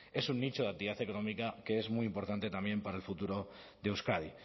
es un nicho de actividad económica que es muy importante también para el futuro de euskadi